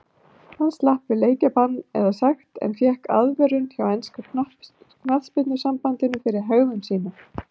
Hann slapp við leikbann eða sekt en fékk aðvörun hjá enska knattspyrnusambandinu fyrir hegðun sína.